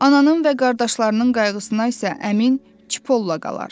Ananın və qardaşlarının qayğısına isə əmin Çipolla qalar.